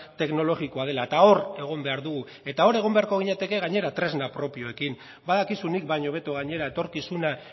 teknologikoa dela eta hor egon behar dugu eta hor egon beharko ginateke gainera tresna propioekin badakizu nik baino hobeto gainera etorkizuna